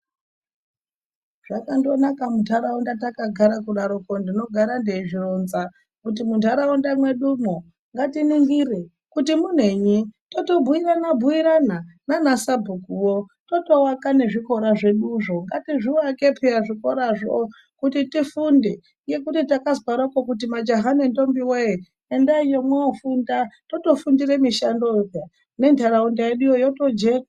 Zvakandonaka munharaunda yakagara kudaroko tinofara teizvironza kuti munharaunda mwedumo ngatiningire kuti munenyi totobuirana buirana naanasabhuku wo totoaka nezvikora zveduzvo. Ngatizviake peya zvikorazvo kuti tifunde kuti takanzwaroko majaha nendombi wee endaiyo mwoofunda totofundira mushandowo peya menharaunda yedu yotojeka.